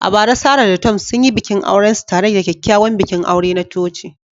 A bara, Sarah da Tom sun yi bikin aurensu tare da kyakkyawan bikin aure na coci.